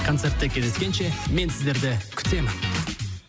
концертте кездескенше мен сіздерді күтемін